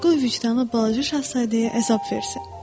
Qoy vicdanı balaca şahzadəyə əzab versin.